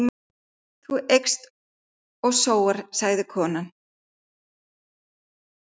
Þú eyst og sóar, sagði konan.